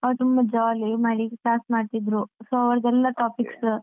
ಅವ್ರು ತುಂಬ jolly ಮಾಡಿ class ಮಾಡ್ತಾ ಇದ್ರು so ಅವ್ರದೇಲ್ಲಾ topic ಸ.